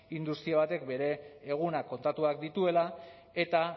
industria batek bere egunak kontatuak dituela eta